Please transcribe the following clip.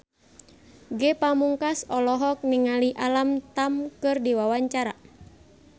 Ge Pamungkas olohok ningali Alam Tam keur diwawancara